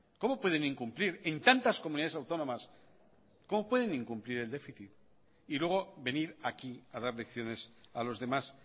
cómo pueden incumplir en tantas comunidades autónomas cómo pueden incumplir el déficit y luego venir aquí a dar lecciones a los demás